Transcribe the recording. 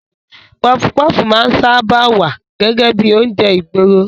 Pọfupọ́fù máa ń sáábà wá gẹ́gẹ́ bíi oúnjẹ ìgboro.